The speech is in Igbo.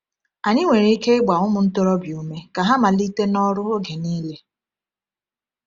Anyị nwere ike ịgba ụmụ ntorobịa ume ka ha malite n’ọrụ oge niile.